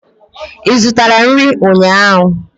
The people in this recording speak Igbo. Ị zụtara nri ụnyaahụ?